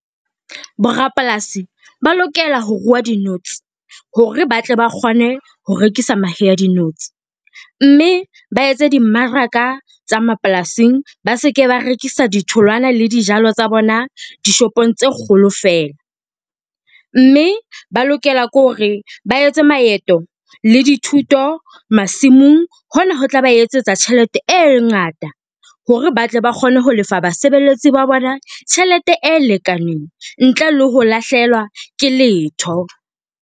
Bo rapolasi ba lokela ho ruwa dinotsi hore ba tle ba kgone ho rekisa mahe a dinotsi, mme ba etse dimmaraka tsa mapolasing ba se ke ba rekisa ditholwana le dijalo tsa bona dishopong tse kgolo feela. Mme ba lokela ke hore ba etse maeto le dithuto masimong, hona ho tla ba etsetsa tjhelete e ngata hore ba tle ba kgone ho lefa basebeletsi ba bona tjhelete e lekaneng ntle le ho lahlehelwa ke letho.